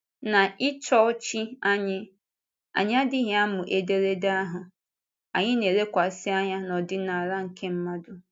N’ịchọọchị anyị, anyị adịghị amụ ederede ahụ; anyị na-elekwasị anya n’ọdịnala nke mmadụ.